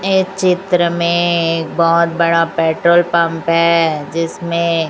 एक चित्र में एक बहोत बड़ा पेट्रोल पंप है जिसमें--